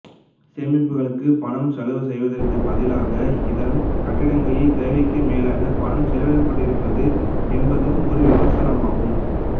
சேகரிப்புக்களுக்குப் பணம் செலவு செய்வதற்குப் பதிலாக இதன் கட்டிடங்களில் தேவைக்கும் மேலாகப் பணம் செலவிடப்பட்டிருக்கிறது என்பதும் ஒரு விமர்சனம் ஆகும்